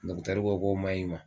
ko k'o maɲ'i ma.